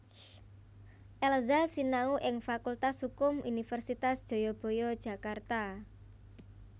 Elza sinau ing Fakultas Hukum Universitas Jayabaya Jakarta